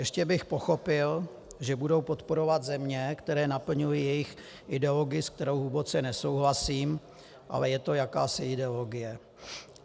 Ještě bych pochopil, že budou podporovat země, které naplňují jejich ideologii, se kterou hluboce nesouhlasím, ale je to jakási ideologie.